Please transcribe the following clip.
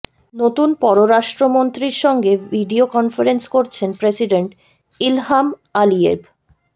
নতুন পররাষ্ট্রমন্ত্রীর সঙ্গে ভিডিও কনফারেন্স করছেন প্রেসিডেন্ট ইলহাম আলিয়েভ